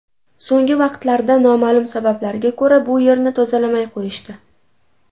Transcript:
So‘nggi vaqtlarda noma’lum sabablarga ko‘ra, bu yerni tozalamay qo‘yishdi.